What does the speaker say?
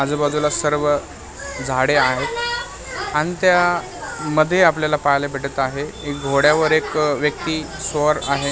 आजूबाजूला सर्व झाडे आहेत आणि त्या मध्ये आपल्याला पाहायला भेटत आहे एक घोड्यावर एक व्यक्ती स्वार आणि --